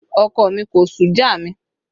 Ọkọ mi kò sú já mi